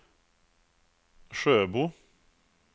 Sjöbo